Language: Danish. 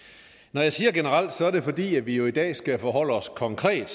når jeg siger generelt er det fordi vi jo i dag skal forholde os konkret